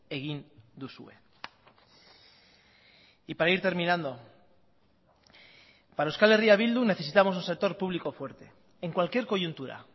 egin duzue y para ir terminando para euskal herria bildu necesitamos un sector público fuerte en cualquier coyuntura